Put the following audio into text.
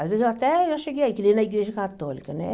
Às vezes eu até, eu cheguei aí, que nem na igreja católica, né?